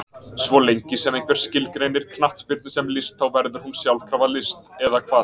Svo lengi sem einhver skilgreinir knattspyrnu sem list þá verður hún sjálfkrafa list, eða hvað?